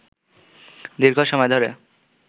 দীর্ঘ সময় ধরে